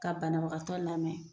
Ka banabagatɔ lamɛn,